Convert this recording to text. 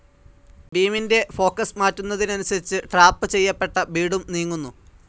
ബീമിന്റെ ഫോക്കസ്‌ മാറ്റുന്നതനുസരിച്ച് ട്രാപ്പ്‌ ചെയ്യപ്പെട്ട ബീഡും നീങ്ങുന്നു.